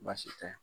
Baasi tɛ